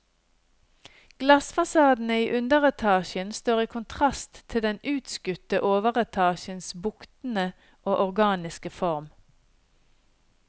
Glassfasadene i underetasjen står i kontrast til den utskutte overetasjens buktende og organiske form.